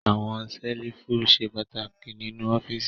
Àwọn ṣẹ́lífù ṣe pàtàkì nínú ọ́fíísì.